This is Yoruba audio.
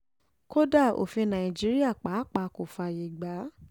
kódà òfin nàìjíríà pàápàá kò fààyè gbà á